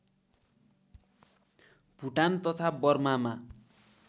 भुटान तथा बर्मामा